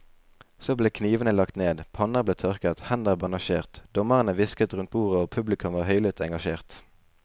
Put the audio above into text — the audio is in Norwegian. Så ble knivene lagt ned, panner ble tørket, hender bandasjert, dommerne hvisket rundt bordet og publikum var høylytt engasjert.